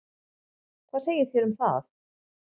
Hvað segið þér um það?